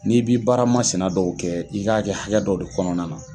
N'i b'i baaramasina dɔw kɛ, i k'a kɛ hakɛ dɔ de kɔnɔna na